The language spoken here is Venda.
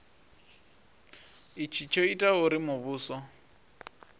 itshi tsho itaho uri muvhuso